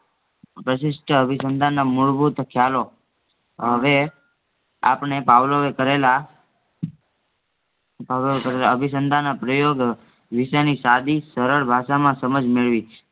પ્રશિસ્ટ અભિસંધાનના મૂળભૂત ખ્યાલો હવે આપણે પાવલોએ કરેલા પાવલોએકરેલા પાવલોએકરેલા અભિસંધાનના પ્રયોગ વિષયની સાધી સરળ ભાષામાં સમાજ મેળવીજ